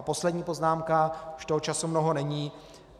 A poslední poznámka - už toho času mnoho není.